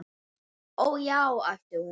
Ó, já, æpti hún.